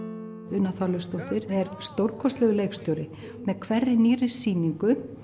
Una Þorleifsdóttir er stórkostlegur leikstjóri með hverri nýrri sýningu